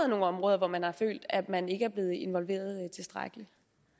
nogle områder hvor man har følt at man ikke er blevet involveret tilstrækkeligt